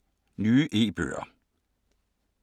Nye e-bøger